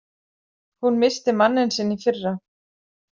Hún missti manninn sinn í fyrra.